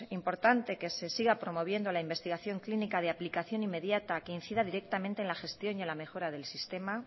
importante que se siga promoviendo la investigación clínica de aplicación inmediata que incida directamente en la gestión y en la mejora del sistema